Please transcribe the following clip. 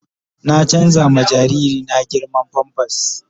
Na canza ma jariri na girman "pampers "